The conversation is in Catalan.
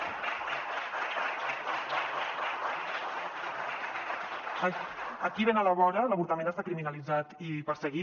aquí ben a la vora l’avortament està criminalitzat i perseguit